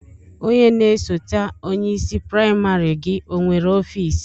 Onye na-esote onye isi praịmarị gị onwere ọfiisi?